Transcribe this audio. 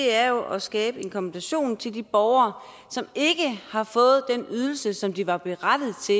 er jo at skabe en kompensation til de borgere som ikke har fået den ydelse som de var berettiget til